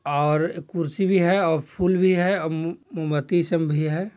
और एक कुर्सी भी है और फूल भी है और मू-- मुंबत्ती सब भी है।